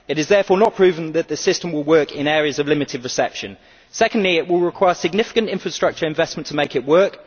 It is therefore not proven that the system will work in areas of limited reception. Secondly, it will require significant infrastructure investment to make it work.